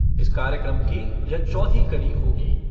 इस कार्यक्रम की यह चौथी कड़ी होगी।